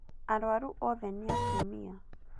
Arwaru othe nĩatumia